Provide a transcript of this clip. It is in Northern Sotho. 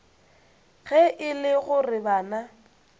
ge e le gore bana